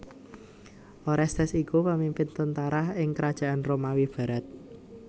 Orestes iku pemimpin tentara ing Krajaan Romawi barat